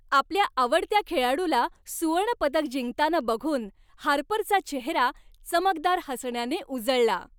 आपल्या आवडत्या खेळाडूला सुवर्णपदक जिंकताना बघून हार्परचा चेहरा चमकदार हसण्यानं उजळला.